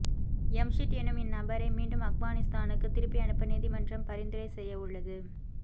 யம்ஷிட் என்னும் இன் நபரை மீண்டும் அக்பானிஸ்தானுக்கு திருப்பி அனுப்ப நீதிமன்றம் பரிந்துரை செய்யவுள்ளது